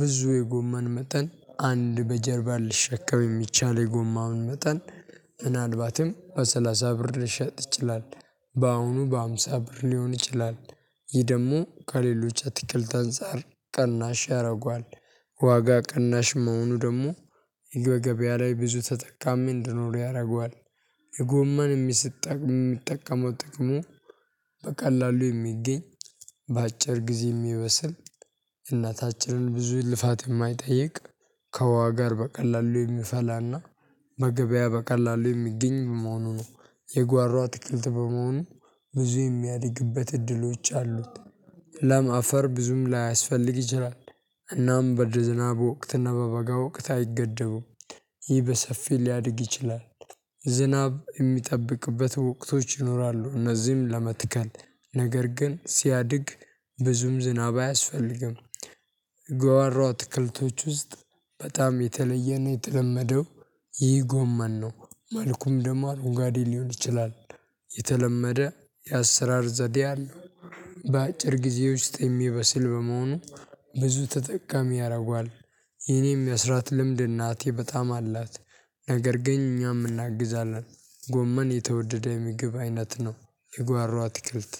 ብዙ የጎመን መጠን አንድ በጀርባ ልሸከም የሚቻለው የጎማውን መጠን ምናልባትም በሰላሳ ብር ድረስ ይሸጥ ይችላል። በአሁኑ በሃምሳ ብር ሊሆን ይችላል። ይህ ደግሞ ከሌሎች አትክልት አንፃር ቀናሽ ያደርገዋል። ዋጋ ቀናሽ መሆኑ ደግሞ የገበያ ላይ ብዙ ተጠቃሚ እንዲኖረው ያደርገዋል። የጎመን የሚጠቅመው ጥቅሙ በቀላሉ የሚገኝ በአጭር ጊዜ የሚበስል እናታችንን ብዙ ልፋት የማይጠይቅ ከዋሃ ጋር በቀላሉ የሚፈላና በገበያ በቀላሉ የሚገኝ መሆኑ ነው። የጓሮ አትክልት በመሆኑ ብዙ የሚያድግበት እድሎች አሉት። ለም አፈር ብዙም ላያስፈልግ ይችላል። እናም በድር ዝናብ ወቅትና በበጋ ወቅት አይገደቡም። ይህ በሰፊው ሊያድግ ይችላል። ዝናብ የሚጠብቅበት ወቅቶች ይኖራሉ እነዚህም ለመትከል ነገር ግን ሲያድግ ብዙም ዝናብ አያስፈልግም። ጓሮ እትክልቶች ውስጥ በጣም የተለየ ነው የተለመደው ይህ ጎመን ነው። መልኩም ደማን አረንጓዴ ሊሆን ይችላል። የተለመደ የአሰራር ዘዴ አለው። በአጭር ጊዜ ውስጥ የሚበስል በመሆኑ ብዙ ተጠቃሚ ያደርጓል። የኔም የመስራት ልምድ እናቴ በጣም አላት። ነገር ግን እኛም እናግዛለን። ጎመን የተወደደ ምግብ አይነት ነው። የጓሮ አትክልት